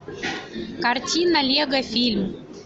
картина лего фильм